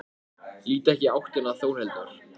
Lít ekki í áttina til Þórhildar.